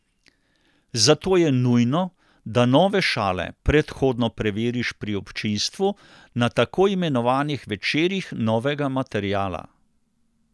Zato je nujno, da nove šale predhodno preveriš pri občinstvu na tako imenovanih večerih novega materiala.